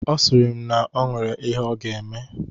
Ọ sịrị m na o nwere ihe ọ ga-eme.